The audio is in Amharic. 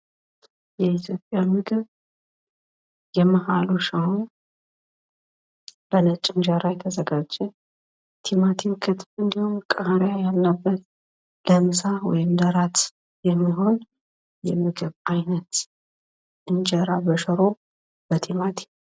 የኢትዮጵያ ምግብ የመሃሉ ሽሮ በነጭ እንጀራ የተዘጋጀ ቲማቲም እንዲሁም ቃሪያ ያለበት ለምሳ ወይም ለራት የሚሆን የምግብ አይነት እንጀራ በሽሮ በቲማቲም